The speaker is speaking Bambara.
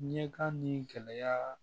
Ɲɛkan ni gɛlɛya